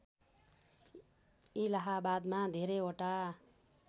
इलाहाबादमा धेरैवटा